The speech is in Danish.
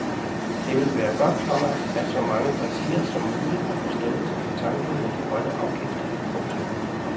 Det vil være godt, komma at så mange partier som muligt har forståelse for tanken med de grønne afgifter. punktum